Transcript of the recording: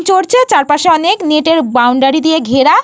চড়ছে। আর চারপাশে অনেক নেটের বাউন্ডারি দিয়ে ঘেরা।